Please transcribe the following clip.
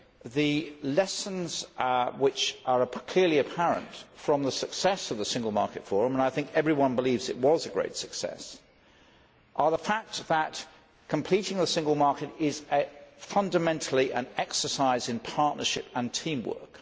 The lessons which are clearly apparent from the success of the Single Market Forum and I think that everyone believes it was a great success are the fact that completing the single market is fundamentally an exercise in partnership and teamwork.